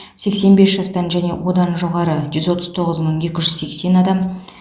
сексен бес жастан және одан жоғары жүз отыз тоғыз мың екі жүз сексен адам